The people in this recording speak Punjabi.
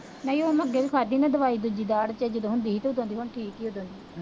ਨਹੀਂ ਉਹ ਮੈਂ ਅੱਗੇ ਵੀ ਖਾਧੀ ਮੈਂ ਦਵਾਈ ਦੂਜੀ ਦਾੜ੍ਹ ਪੀੜ ਜਦੋਂ ਹੁੰਦੀ ਸੀ ਤਾਂ ਉਦੋ ਦੀ